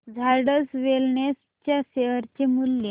Zydus wellness च्या share चे मूल्य